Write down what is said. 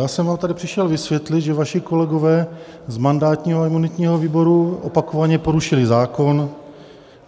Já jsem vám tady přišel vysvětlit, že vaši kolegové z mandátního a imunitního výboru opakovaně porušili zákon,